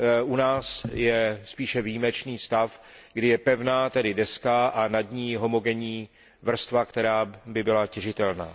U nás je spíše výjimečný stav, kdy je pevná deska a nad ní homogenní vrstva, která by byla těžitelná.